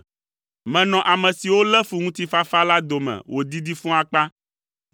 Menɔ ame siwo lé fu ŋutifafa la dome wòdidi fũu akpa.